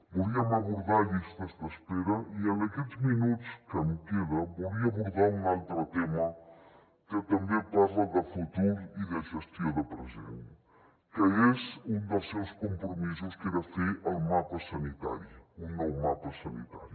volíem abordar llistes d’espera i en aquests minuts que em queden volia abordar un altre tema que també parla de futur i de gestió de present que és un dels seus compromisos que era fer el mapa sanitari un nou mapa sanitari